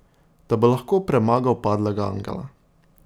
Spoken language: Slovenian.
Da bo lahko premagal Padlega angela.